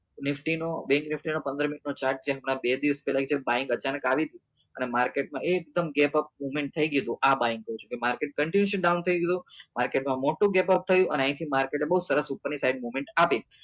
nifty નું bank nifty નો પંદર minute નો chart જે હમણાં બે દિવસ પેલા અહી કણ હમણાં અચાનક આવી હતી અને market માં એકદમ gap upmovment થઇ ગયું હતું આ કઉં છું કે market continuously down થઇ ગયું હતું market માં મોટું gap up થયું અને અહી થી market એ બઉ સરસ ઉપર ની side movement આપી